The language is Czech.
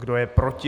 Kdo je proti?